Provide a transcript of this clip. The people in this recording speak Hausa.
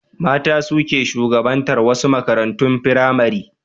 Mata su ke shugabatar wasu makarantun firamare.